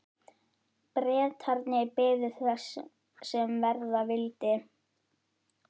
Bretarnir biðu þess sem verða vildi.